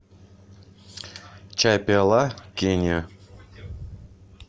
чай пиала кения